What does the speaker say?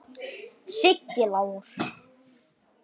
Nammi, því miður.